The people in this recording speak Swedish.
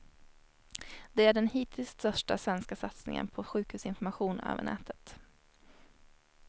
Det är den hittills största svenska satsningen på sjukvårdsinformation över nätet.